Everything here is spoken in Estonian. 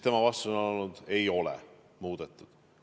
Tema vastus on olnud: ei ole muudetud.